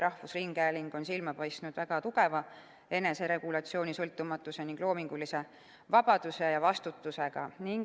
Rahvusringhääling on silma paistnud väga tugeva eneseregulatsiooni, sõltumatuse ning loomingulise vabaduse ja vastutusega.